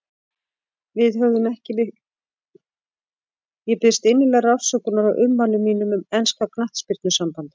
Ég biðst innilegrar afsökunar á ummælum mínum um enska knattspyrnusambandið.